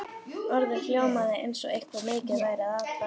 Orðið hljómaði eins og eitthvað mikið væri að barninu.